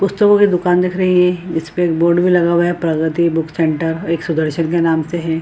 पुस्तकों की दुकान दिख रही है जिसपे एक बोर्ड भी लगा हुआ है प्रगति बुक सेंटर एक सुदर्शन के नाम से है।